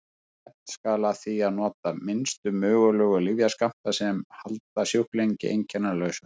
Stefnt skal að því að nota minnstu mögulegu lyfjaskammta sem halda sjúklingi einkennalausum.